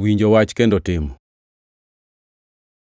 Winjo wach kendo timo